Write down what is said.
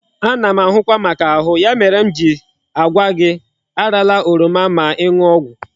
Ana m ahụkwa maka ahu, ya mere m ji agwa gi arala oroma ma iñu ogwu